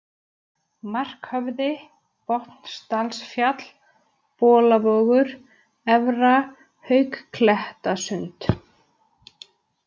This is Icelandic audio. Markhöfði, Botnsdalsfjall, Bolavogur, Efra-Háuklettasund